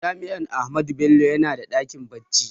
Jami'ar Ahmadu Bello na da ɗakin bincike